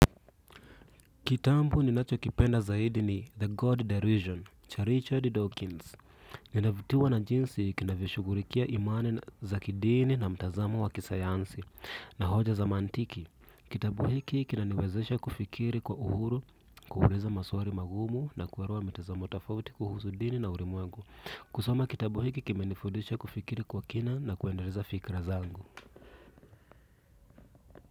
Kitabu ni nacho kipenda zaidi ni The God Derision, cha Richard Dawkins. Ninavutiwa na jinsi kinavyo shughulikia imani za kidini na mtazamo wa kisayansi na hoja za mantiki. Kitabu hiki kinaniwezesha kufikiri kwa uhuru, kuuliza maswali magumu na kuelewa mitazamo tafauti kuhusu dini na ulimwengu. Kusoma kitabu hiki kimenifundisha kufikiri kwa kina na kuendeleza fikra zangu.